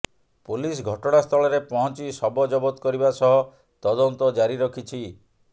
police ଘଟଣାସ୍ଥଳରେ ପହଂଚି ଶବ ଜବତ କରିବା ସହ ତଦନ୍ତ ଜାରି ରଖିଛି